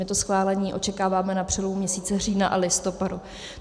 My to schválení očekáváme na přelomu měsíce října a listopadu.